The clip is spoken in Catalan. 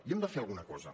i hem de fer alguna cosa